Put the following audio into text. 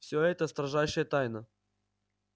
всё это строжайшая тайна